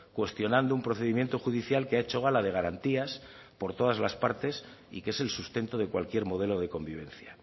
cuestionando un procedimiento judicial que ha hecho gala de garantías por todas las partes y que es el sustento de cualquier modelo de convivencia